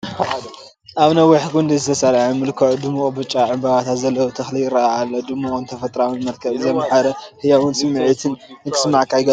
ኣብ ነዊሕ ጕንዲ ዝተሰርዐ ምልኩዕ ድሙቕ ብጫ ዕምባባታት ዘለዎ ተኽሊ ይረአ ኣሎ። ድሙቕን ተፈጥሮኣውን መልክዕ ዘምሐረ ህያውን ስምዒት ንኽስማዓካ ይገብር።